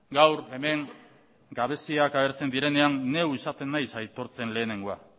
gaur hemen gabeziak agertzen direnean neu izaten naiz aitortzen lehenengoa